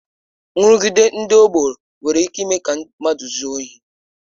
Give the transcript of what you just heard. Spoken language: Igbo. Nrụgide ndị ọgbọ nwere ike ịme ka mmadụ zuo ohi